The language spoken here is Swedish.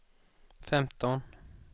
femton